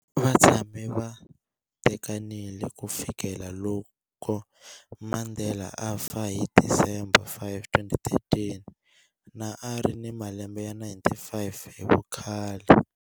Va tshame va tekanile ku fikela loko Mandela a fa hi December 5, 2013, na a ri ni malembe ya 95 hi vukhale.